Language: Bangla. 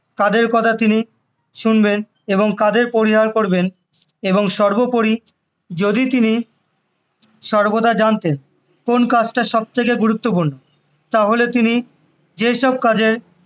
কাদের কথা তিনি শুনবেন এবং কাদের পরিবার করবেন এবং সর্বোপরি যদি তিনি সর্বদা জানতেন কোন কাজটা সবথেকে গুরুত্বপূর্ণ তাহলে তিনি যে সব কাজের